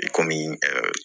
I komi ɛɛ